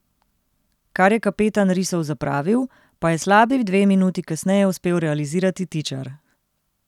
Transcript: Kar je kapetan risov zapravil, pa je slabi dve minuti kasneje uspel realizirati Tičar.